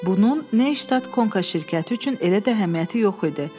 Bunun Neystad Konka şirkəti üçün elə də əhəmiyyəti yox idi.